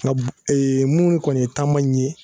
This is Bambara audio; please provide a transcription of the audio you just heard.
Nga mun kɔni ye taama in ye